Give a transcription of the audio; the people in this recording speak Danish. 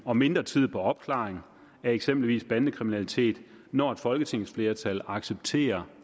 og mindre tid på opklaring af eksempelvis bandekriminalitet når et folketingsflertal accepterer